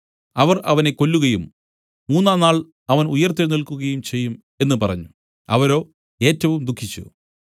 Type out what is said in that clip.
അവർ അവനെ കൊല്ലുകയും മൂന്നാം നാൾ അവൻ ഉയിർത്തെഴുന്നേൽക്കുകയും ചെയ്യും എന്നു പറഞ്ഞു അവരോ ഏറ്റവും ദുഃഖിച്ചു